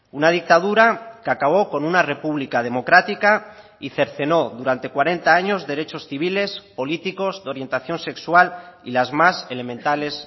una dictadura que acabó con una república democrática y cercenó durante cuarenta años derechos civiles políticos de orientación sexual y las más elementales